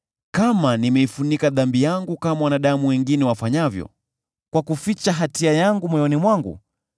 kama nimeifunika dhambi yangu kama wanadamu wengine wafanyavyo, kwa kuficha hatia yangu moyoni mwangu,